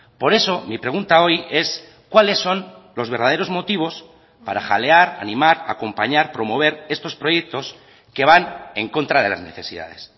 por eso mi pregunta hoy es cuáles son los verdaderos motivos para jalear animar acompañar promover estos proyectos que van en contra de las necesidades